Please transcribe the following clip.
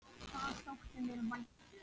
Það þótti mér vænt um